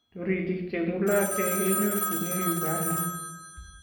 Toritik che ng'ulotei kenyorchinei Uganda